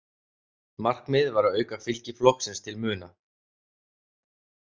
Markmiðið var að auka fylgi flokksins til muna.